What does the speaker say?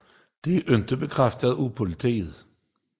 Det er ikke bekræftet af politiet